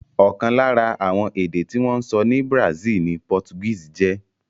Ọ̀kan lára àwọn èdè tí wọ́n ń sọ ní Brazil ni Portuguese jẹ́.